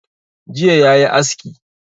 Jiya yayi aski